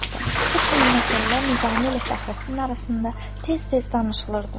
Bu kimi məsələlər Nizami ilə Fəxrəddin arasında tez-tez danışılırdı.